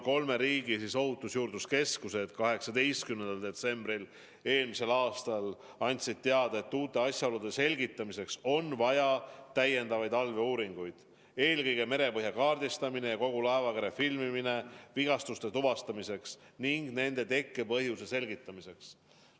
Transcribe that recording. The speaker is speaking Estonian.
Kolme riigi ohutusjuurdluse keskused andsid 18. detsembril eelmisel aastal teada, et uute asjaolude selgitamiseks on vaja täiendavaid allveeuuringuid, milleks on eelkõige merepõhja kaardistamine ja kogu laevakere filmimine vigastuste tuvastamiseks ning nende tekkepõhjuse selgitamiseks.